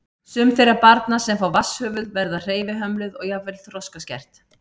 Sum þeirra barna sem fá vatnshöfuð verða hreyfihömluð og jafnvel þroskaskert.